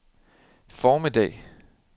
formiddag